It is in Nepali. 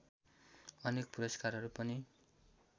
अनेक पुरस्कारहरू पनि